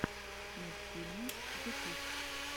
мультфильмы ютюб